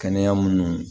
Kɛnɛya minnu